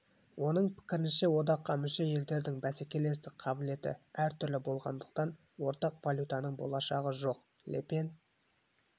оның пікірінше одаққа мүше елдердің бәсекелестік қабілеті әр түрлі болғандықтан ортақ валютаның болашағы жоқ ле пен